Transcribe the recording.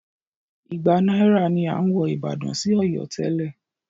Igba náírà ni à ń wọ ìbàdàn sí Ọ̀yọ́ tẹ́lẹ̀.